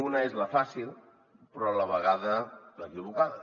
una és la fàcil però a la vegada l’equivocada